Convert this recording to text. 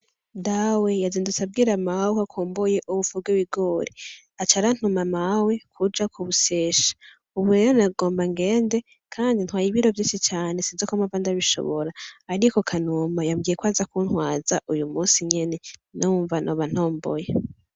Dawe yazindutse abwira mawe ko akumbuye ubufu bw'ibigori, aca arantuma mawe kuja kubusyesha ubu rero nagomba ngende kandi ntwaye ibiro vyinshi cane sinzi ko mpava ndabishonora ariko kanuma yambwiye ko aza kuntwaza uyumusi nyene numva noba ntomboye.